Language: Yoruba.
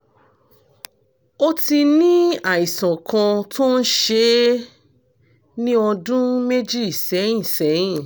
ó ti ní àìsàn kan tó ń ṣe é ní ọdún méjì sẹ́yìn sẹ́yìn